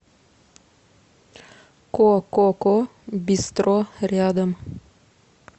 кококо бистро рядом